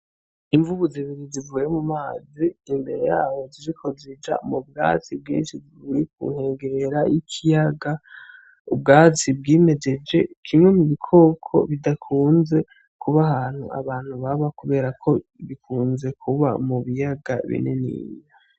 Imvubu zibiri zivuye mumazi imbere yaho ziriko zija mubwatsi bwinshi buri kunkengera y'ikiyaga, ubwatsi bwimejeje, kimwe mubikoko bidakunze kuba ahantu abantu baba kuberako bikunze kuba mubiyaga bininiya .